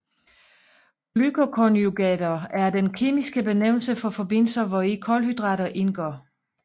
Glycoconjugater er den kemiske benævnelse for forbindelser hvori kulhydrater indgår